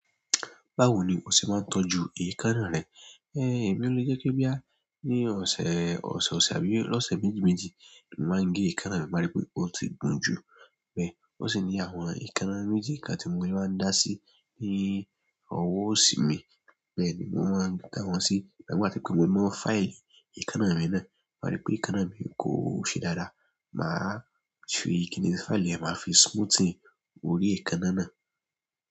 Báwo ni o ṣe máa ń tọ́jú èékánná rẹ? Ẹ̀ẹ̀, èmi ò lè jẹ́ pe boyá. Ni ọ̀sẹ̀, ọ̀sẹ̀ ọ̀sẹ̀ àbí lóṣẹ̀ méjì méjì ni màá ń gé èékánná mi, má rí pé ó ti gùn jù. Bẹ́ẹ̀, ó sì ní àwọn èékánná méjì kan tí mo lè máa ń dá sí ní ọwọ́ òsì mi. Bẹ́ẹ̀ ni mò ń máa dá wọn sí. Àwọn kan wà tó ṣe pé mo máa fáì èékánná mi náà, má rí pé èékánná mi kò ṣe dáadáa, màá tún kí ní fáì lè máa fi smoothing orí èékánná náà.